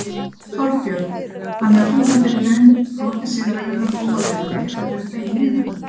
Þorbjörn: Þannig að þú hefðir í raun brotið siðareglurnar óafvitandi hefðirðu þegið miðana?